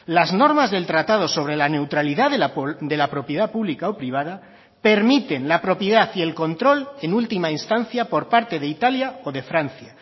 las normas del tratado sobre la neutralidad de la propiedad pública o privada permiten la propiedad y el control en última instancia por parte de italia o de francia